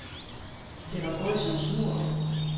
Det var gået som smurt.